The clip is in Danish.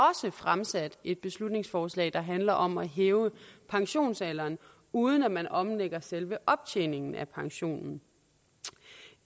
fremsat et beslutningsforslag der handler om at hæve pensionsalderen uden at man omlægger selve optjeningen af pensionen